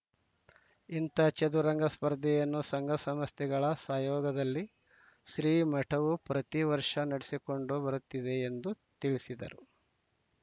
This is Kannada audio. ಇಂತಹ ಚದುರಂಗ ಸ್ಪರ್ಧೆಯನ್ನು ಸಂಘಸಂಸ್ಥೆಗಳ ಸಯೋಗದಲ್ಲಿ ಶ್ರೀಮಠವು ಪ್ರತಿವರ್ಷ ನಡೆಸಿಕೊಂಡು ಬರುತ್ತಿದೆ ಎಂದು ತಿಳಿಸಿದರು